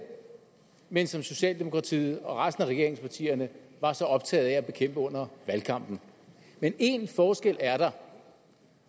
men som socialdemokratiet og resten af regeringspartierne var så optaget af at bekæmpe under valgkampen men én forskel er der